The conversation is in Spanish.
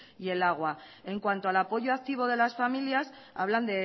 y el agua en cuanto al apoyo activo de las familias hablan